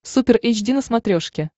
супер эйч ди на смотрешке